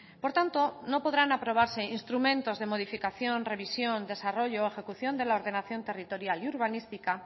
por tanto no podrán aprobarse instrumentos de modificación revisión desarrollo o ejecución de la ordenación territorial y urbanística